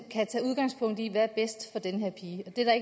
kan tage udgangspunkt i hvad der er bedst for den her pige det er